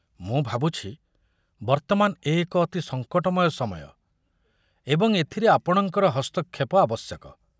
ମୁଁ ଭାବୁଛି ବର୍ତ୍ତମାନ ଏ ଏକ ଅତି ସଂକଟମୟ ସମୟ ଏବଂ ଏଥିରେ ଆପଣଙ୍କର ହସ୍ତକ୍ଷେପ ଆବଶ୍ୟକ।